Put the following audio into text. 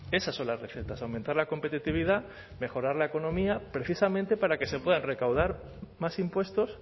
esas son las recetas aumentar la competitividad mejorar la economía precisamente para que se puedan recaudar más impuestos